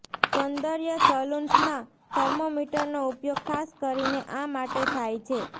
સૌંદર્ય સલુન્સમાં થર્મોમીટરનો ઉપયોગ ખાસ કરીને આ માટે થાય છે